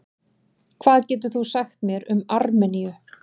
Hvað getur þú sagt mér um Armeníu?